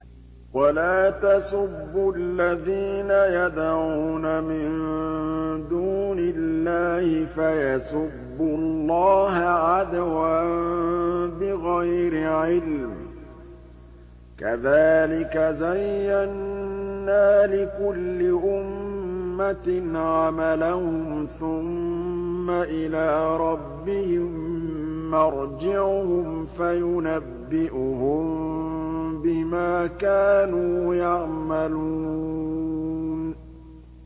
وَلَا تَسُبُّوا الَّذِينَ يَدْعُونَ مِن دُونِ اللَّهِ فَيَسُبُّوا اللَّهَ عَدْوًا بِغَيْرِ عِلْمٍ ۗ كَذَٰلِكَ زَيَّنَّا لِكُلِّ أُمَّةٍ عَمَلَهُمْ ثُمَّ إِلَىٰ رَبِّهِم مَّرْجِعُهُمْ فَيُنَبِّئُهُم بِمَا كَانُوا يَعْمَلُونَ